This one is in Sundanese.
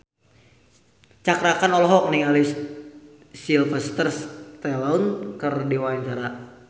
Cakra Khan olohok ningali Sylvester Stallone keur diwawancara